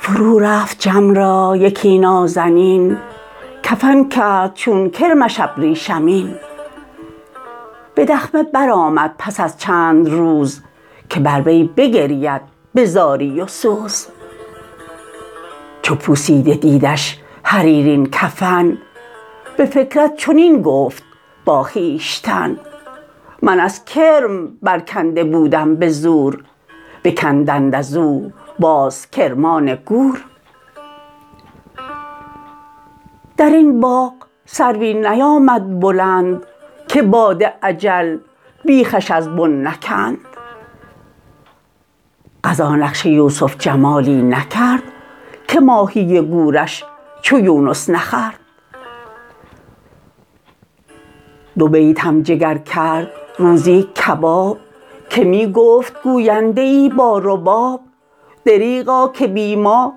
فرو رفت جم را یکی نازنین کفن کرد چون کرمش ابریشمین به دخمه برآمد پس از چند روز که بر وی بگرید به زاری و سوز چو پوسیده دیدش حریرین کفن به فکرت چنین گفت با خویشتن من از کرم برکنده بودم به زور بکندند از او باز کرمان گور در این باغ سروی نیامد بلند که باد اجل بیخش از بن نکند قضا نقش یوسف جمالی نکرد که ماهی گورش چو یونس نخورد دو بیتم جگر کرد روزی کباب که می گفت گوینده ای با رباب دریغا که بی ما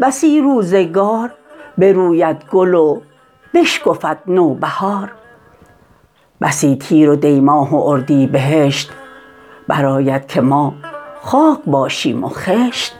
بسی روزگار بروید گل و بشکفد نوبهار بسی تیر و دی ماه و اردیبهشت برآید که ما خاک باشیم و خشت